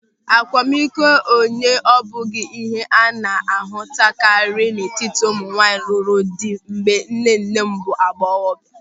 Akwamikọ onye abụghị ịhe a na-ahụtakarị n'etiti ụmụnwaanyị lụrụ di mgbe nnenne m bụ agbọghọ.